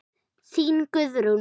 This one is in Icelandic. Þín, Guðrún.